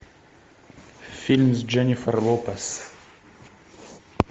фильм с дженнифер лопес